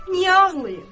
Niyə ağlayım?